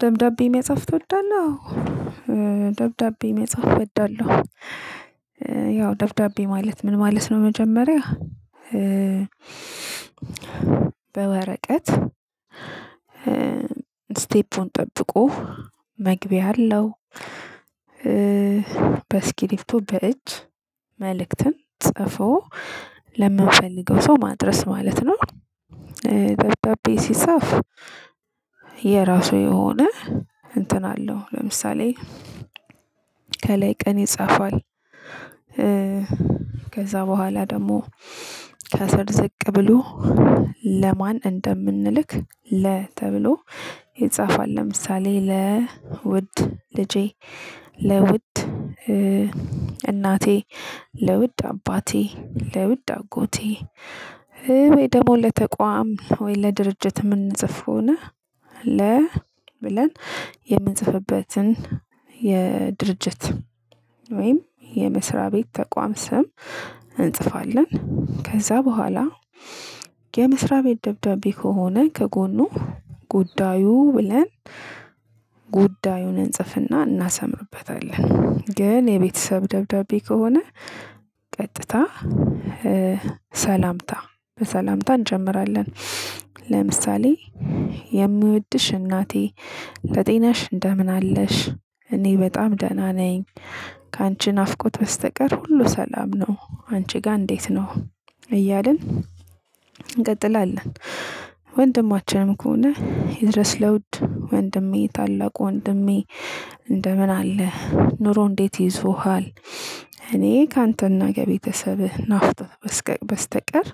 ደብዳቤ መጻፍ ትወዳለህ? ደብዳቤ መጻፍ እወዳለሁ። ያው ደብዳቤ ማለት ምን ማለት ነው። መጀመሪያ በወረቀት ስቴፑን ጠብቆ መግቢያ አለው። በእስክርቢቶ በእጅ መልእክትን ጽፎ ለምንፈልገው ሰው ማድረስ ማለት ነው። ደብዳቤ ሲጻፍ የራሱ የሆነ እንትን አለው። ለምሳሌ ከላይ ቀን ይጻፋል። ከዛ በኋላ ደግሞ ከሰር ዝቅ ብሎ ለማን እንደምንልክ ለ ተብሎ ይጻፋል። ለምሳሌ ለ ውድ ልጄ ለውድ እናቴ ለውድ አባቴ ለውድ አጎቴ። ወይ ደግሞ ለተቋም ወይ ለድርጅት እምንጽፍ ከሆነ ለ ብለን የምንጽፍበትን የድርጅት ወይም የመስሪያ ቤት ተቋም ስም እንጽፋለን። ከዛ በኋላ የመስሪያ ቤት ደብዳቤ ከሆነ ከጎኑ ጉዳዩ ብለን ጉዳዩን እንጽፍና እናሰምርበታለን። ግን የቤተሰብ ደብዳቤ ከሆነ ቀጥታ ሰላምታ በሰላምታ እንጀምራለን። ለምሳሌ የምወድሽ እናቴ ለጤናሽ እንደምን አለሽ እኔ በጣም ደህና ነኝ። ካንቺ ናፍቆት በስተቀር ሁሉ ሰላም ነው። አንቺ ጋር እንዴት ነው እያልን እንቀጥላለን። ወንድማችንም ከሆነ ይድረስ ለውድ ወንድሜ ታላቁ ወንድሜ። እንደምን አለህ ኑሮ እንዴት ይዞሀል እኔ ከአንተ እና ከቤተሰብህ ናፍቆት በስተቀር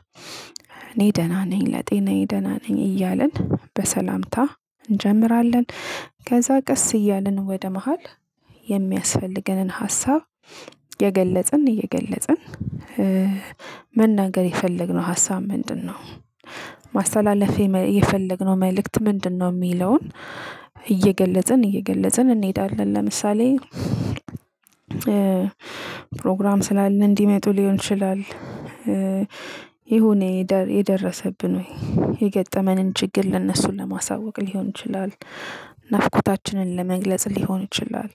እኔ ደህና ነኝ። ለጤናየ ደህና ነኝ እያልን በሰላምታ እንጀምራለን። ከዛ ቀስ እያልን ወደ መሃል የሚያስፈልገንን ሀሳብ የገለጽን እየገለጽን መናገር የፈለግነው ሀሳብ ምንድነው? ማስተላለፍ የፈለግነው መልእክት ምንድነው? የሚለውን እየገለጽን እየገለጽን እንሄዳለን። ለምሳሌ ፕሮግራም ስላለ እንዲመጡ ሊሆን ይችላል። የሆነ የደረሰብን ወይ የገጠመንን ችግር ለእነሱ ለማሳወቅ ሊሆን ይችላል። ናፍቆታችንን ለመግለጽ ሊሆን ይችላል።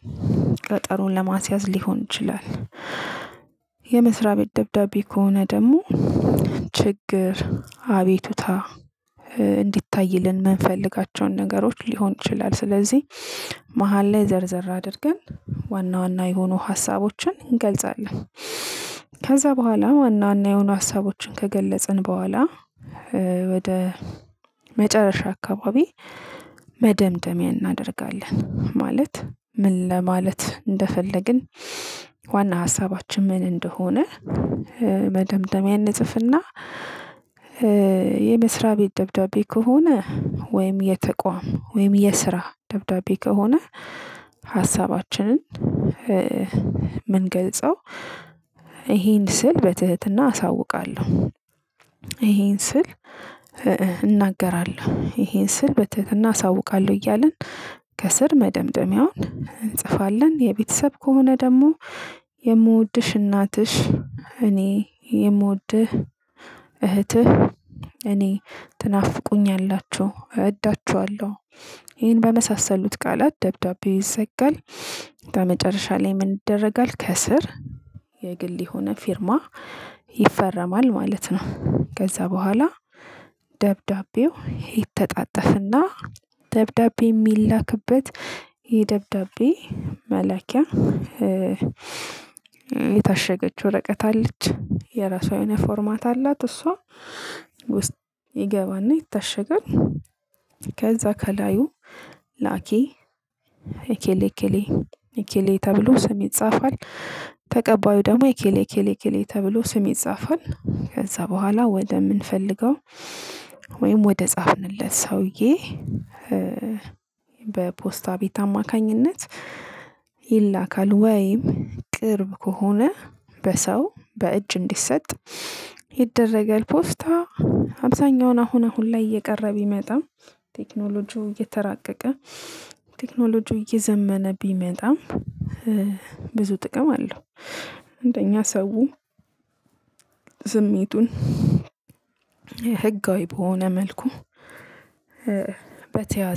ቀጠሮን ለማስያዝ ሊሆን ይችላል። የመስሪያ ቤት ደብዳቤ ከሆነ ደግሞ ችግር አቤቱታ እንዲታይልን የምንፈልጋቸውን ነገሮች ሊሆን ይችላል። ስለዚህ መሃል ላይ ዘርዘር አድርገን ዋና ዋና የሆኑ ሀሳቦችን እንገልጻለን። ከዛ በኋላ ዋና ዋና የሆኑ ሀሳቦችን ከገለጽን በኋላ ወደ መጨረሻ አካባቢ መደምደሚያ እናደርጋለን። ማለት ምን ለማለት እንደፈለግን ዋና ሀሳባችን ምን እንደሆነ። መደምደሚያ እንጽፍ እና የመስሪያ ቤት ደብዳቤ ከሆነ ወይም የተቋም ወይም የስራ ደብዳቤ ከሆነ። ሀሳባችንን ምንገልጸው ይሄን ስል በትህትና አሳውቃለሁ። ይሄን ስል እናገራለሁ ይሄን ስል በትህትና አሳውቃለሁ። እያልን ከስር መደምደሚያውን እንጽፋለን። የቤተሰብ ከሆነ ደግሞ የምወድሽ እናትሽ እኔ የምወድህ እህትህ እኔ ትናፍቁኛላችሁ እወዳችኋለሁ ይሄን በመሳሰሉት ቃላት ደብዳቤ ይዘጋል። ከዛ መጨረሻ ላይ ምን ይደረጋል? ከስር የግል የሆነ ፊርማ ይፈረማል ማለት ነው። ከዛ በኋላ ደብዳቤው ይተጣጠፍና ደብዳቤ የሚላክበት የደብዳቤ መላኪያ የታሸገች ወረቀት አለች የራሷ የሆነ ፎርማት አላት እሷ ውስጥ ይገባና ይታሸጋል። ከዛ ከላዩ ላኪ እከሌ እከሌ እከሌ ተብሎ ስሜት ይጻፋል። ተቀባዩ ደግሞ እከሌ እከሌ እከሌ ተብሎ ስሜት ይጻፋል። ከዛ በኋላ ወደምንፈልገው ወይም ወደ ጻፍንለት ሰውዬ በፖስታ ቤት አማካኝነት ይላካል። ወይም ቅርብ ከሆነ በሰው በእጅ እንዲሰጥ ይደረጋል። ፖስታ አብዛኛውን አሁን አሁን ላይ እየቀረ ቢመጣም ቴክኖሎጂው እየተራቀቀ ቴክኖሎጂው እየዘመነ ቢመጣም ብዙ ጥቅም አለው። እንደኛ ሰው ስሜቱን ህጋዊ በሆነ መልኩ በተያዘ